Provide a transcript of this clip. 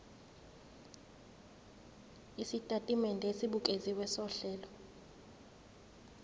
isitatimende esibukeziwe sohlelo